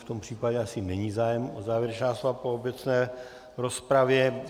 V tom případě asi není zájem o závěrečná slova po obecné rozpravě.